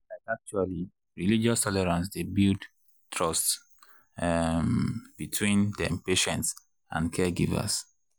like actually religious tolerance dey builds trust um between dem patients and caregivers.